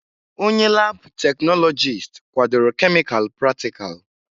Onye laabụ̀ teknọlọjịst kwadoro kemịkalụ pratikal.